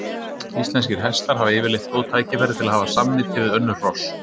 Íslenskir hestar hafa yfirleitt góð tækifæri til að hafa samneyti við önnur hross.